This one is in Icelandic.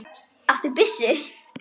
Áttu byssu?